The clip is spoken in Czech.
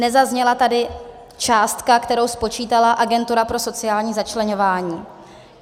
Nezazněla tady částka, kterou spočítala Agentura pro sociální začleňování.